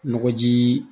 Nɔgɔ jii